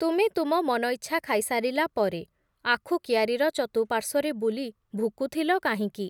ତୁମେ ତୁମ ମନଇଚ୍ଛା ଖାଇସାରିଲା ପରେ, ଆଖୁକିଆରିର ଚତୁପାର୍ଶ୍ଵରେ ବୁଲି ଭୁକୁଥିଲ କାହିଁକି ।